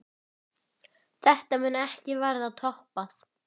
Þetta mun ekki verða toppað.